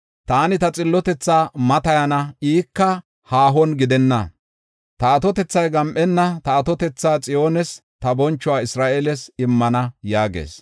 Taani ta xillotethaa matayana; ika haahona gidenna. Ta atotethay gam7enna; ta atotetha Xiyoones, ta bonchuwa Isra7eeles immana” yaagees.